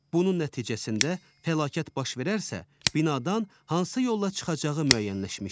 Bunun nəticəsində fəlakət baş verərsə, binadan hansı yolla çıxacağı müəyyənləşmişdi.